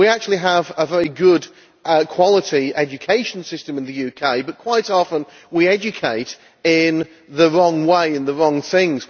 We actually have a very good quality education system in the UK but quite often we educate in the wrong way, in the wrong things.